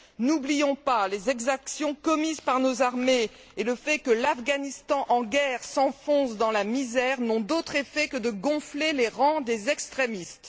N'oublions pas que les exactions commises par nos armées et le fait que l'Afghanistan en guerre s'enfonce dans la misère n'ont d'autre effet que de gonfler les rangs des extrémistes.